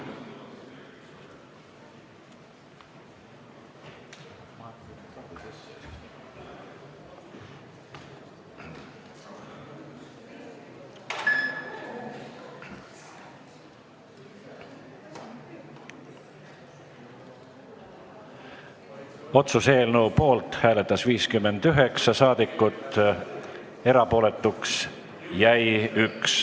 Hääletustulemused Otsuse eelnõu poolt hääletas 59 saadikut, erapooletuks jäi 1.